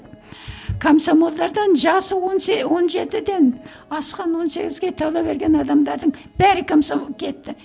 комсомолдардан жасы он он жетіден асқан он сегізге тола берген адамдардың бәрі кетті